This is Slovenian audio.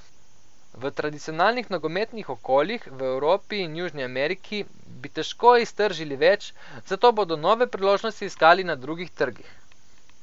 V tradicionalnih nogometnih okoljih, v Evropi in Južni Ameriki, bi težko iztržili več, zato bodo nove priložnosti iskali na drugih trgih.